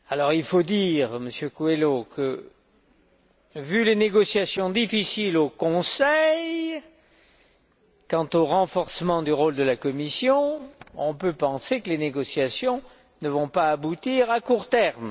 Il faut dire, Monsieur Coelho, que vu les négociations difficiles au Conseil, quant au renforcement du rôle de la Commission, on peut penser que les négociations ne vont pas aboutir à court terme.